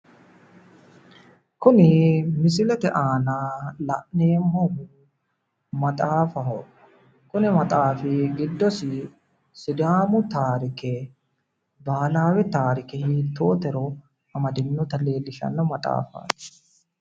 Kuni misilete aana la'neemmohu maxaafaho, kuni maxaafi giddosi sidaamu taarike bahiilawe taarike hittootero amadino maxaafaati